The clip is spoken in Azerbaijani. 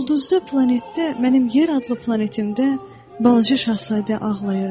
Ulduzda planetdə, mənim yer adlı planetimdə balaca Şahzadə ağlayırdı.